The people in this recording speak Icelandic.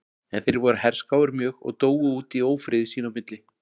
En þeir voru herskáir mjög og dóu út í ófriði sín á milli.